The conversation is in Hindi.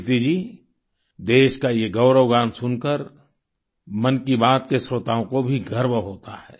कीर्ति जी देश का ये गौरवगान सुनकर मन की बात के श्रोताओं को भी गर्व होता है